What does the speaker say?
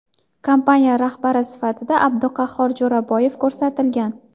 Kompaniya rahbari sifatida Abduqahhor Jo‘raboyev ko‘rsatilgan.